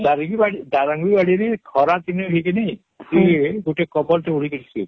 ଦାରିଙ୍ଗିବାଡ଼ି ଦାରିଙ୍ଗିବାଡ଼ି ରେ ଖରାଦିନେ ଭିଗିନୀ ହମ୍ ଗୁଟେ Cover ଟେ ହଁ ସୁଇବୁ